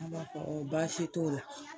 An b'a fɔ baasi t'o la.